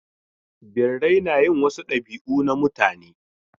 Birrai na yin wasu dabi'u na mutane.